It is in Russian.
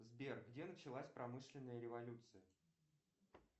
сбер где началась промышленная революция